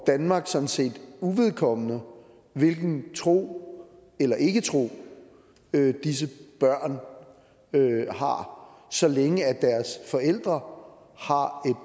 danmark sådan set uvedkommende hvilken tro eller ikketro disse børn har så længe deres forældre har